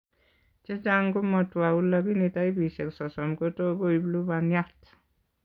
Chechang' komatwouu lakini taipisiek sosom kotot koib lubaniat